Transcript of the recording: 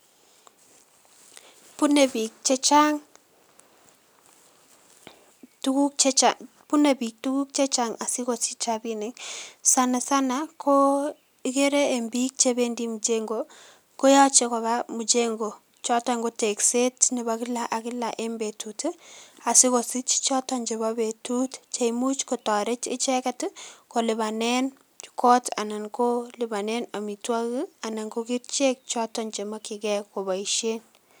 Bune bik chechang tuguk chechang, bune bik tuguk chechang asikosich Rabinik, sana sana Koo ikere eng bik chebendi mjengo koyache koba mjengo joton ko tegset nebo kila ak kila eng betut ii asikosich joton jebo betut je imuch kotoret icheket ii kolibanen kot anan Koo koliban amituokik ii anan ko kerichek joton chemokyin Kee koboisien.